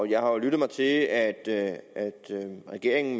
jeg har jo lyttet mig til at at regeringen